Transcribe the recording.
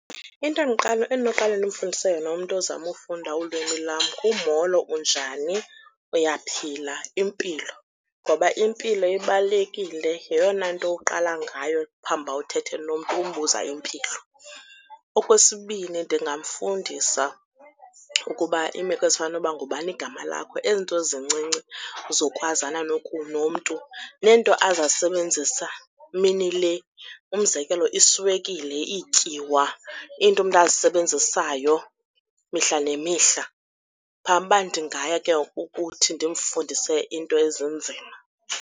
Into endinokuqale ndimfundise yona umntu ozama ufunda ulwimi lam ngumolo, unjani, uyaphila, impilo ngoba impilo ibalulekile yeyona nto uqala ngayo phambi uba uthethe nomntu, umbuza impilo. Okwesibini, ndingamfundisa ukuba iimeko ezifana noba ngubani igama lakho ezinto zincinci zokwazana nomntu, neento azazisebenzisa mini le umzekelo, iswekile, iityiwa iinto umntu azisebenzisayo mihla nemihla phambi uba ndingaya ke ngoku ukuthi ndimfundise iinto ezinzima.